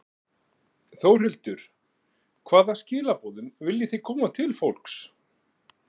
Þórhildur: Hvaða skilaboðum viljið þið koma til fólks?